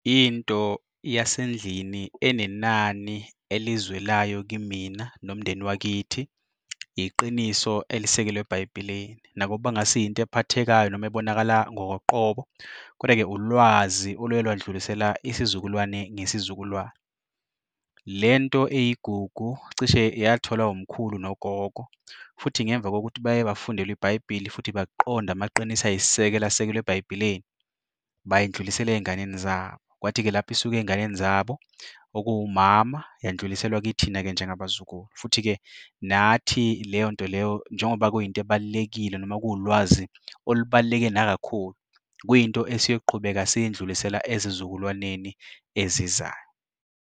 Into yasendlini enenani elizwelayo kimina nomndeni wakithi, iqiniso elisekelwe eBhayibhelini nakuba kungasiyo into ephathekayo noma ebonakala ngokoqobo kodwa-ke ulwazi olwelwadlulisela isizukulwane ngesizukulwane. Le nto eyigugu, cishe yatholwa umkhulu nogogo futhi ngemva kokuthi baye bafundela iBhayibhili futhi baqonda amaqiniso ayisisekelo asekelwe eBhayibhelini bayindlulisela ey'nganeni zabo. Kwathi-ke lapho isuka ey'nganeni zabo okuwumama, yandluliselwa kithina-ke njengabazukulu futhi-ke nathi leyo nto leyo njengoba kuyinto ebalulekile noma kuwulwazi olubaluleke nakakhulu, kuyinto esiyoqhubeka siyindlulisele ezizukulwaneni ezizayo.